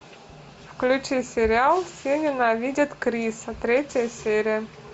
включи сериал все ненавидят криса третья серия